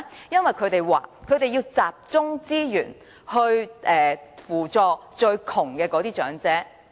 局長和政府經常說，因為要集中資源扶助最貧窮的長者。